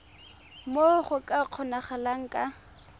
moo go ka kgonagalang ka